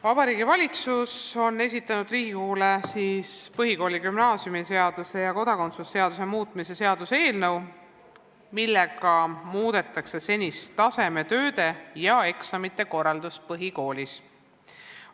Vabariigi Valitsus on esitanud Riigikogule kodakondsuse seaduse ning põhikooli- ja gümnaasiumiseaduse muutmise seaduse eelnõu, millega muudetakse senist tasemetööde ja eksamite korraldust põhikoolis.